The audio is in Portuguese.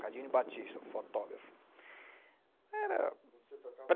Cadinho Batista, o fotógrafo. Era... Você tocava